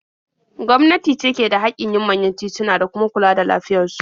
Gwamnati ce ke da haƙƙin yin manyan tituna da kuma kula da lafiyar su.